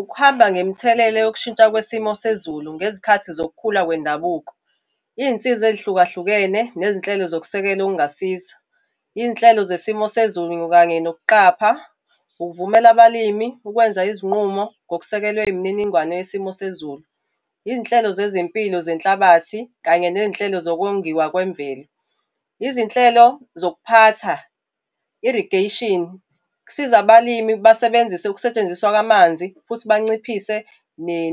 Ukuhamba ngemithelela yokushintsha kwesimo sezulu ngezikhathi zokukhula kwendabuko. Iy'nsiza ey'hlukahlukene, nezinhlelo zokusekela okungasiza. Iy'nhlelo zesimo sezulu kanye nokuqapha, ukuvumela abalimi ukwenza izinqumo ngokusekelwe imininingwane yesimo sezulu. Iy'nhlelo zezempilo zenhlabathi, kanye ney'nhlelo zokongiwa kwemvelo. Izinhlelo zokuphatha, Irrigation, kusiza abalimi basebenzise ukusetshenziswa kwamanzi, futhi banciphise